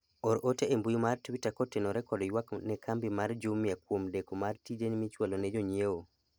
or ote e mbui mar twita kotenore kod ywak ne kambi mar jumia kuom deko mar tije michwalo ne jonyiewo